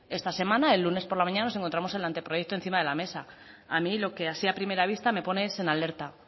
esta semana el lunes por la mañana nos encontramos el anteproyecto encima de la mesa a mí lo que así a primera vista me pone es en alerta